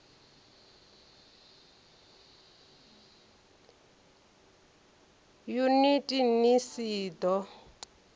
yuniti nls i d o